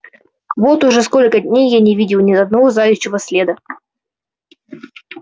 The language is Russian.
вот уже сколько дней я не видел ни одного заячьего следа